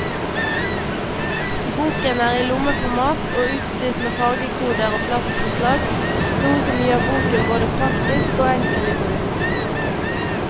Boken er i lommeformat og utstyrt med fargekoder og plastomslag, noe som gjør boken både praktisk og enkel i bruk.